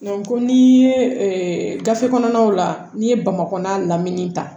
ko n'i ye gafe kɔnɔnaw la n'i ye bamakɔya lamini ta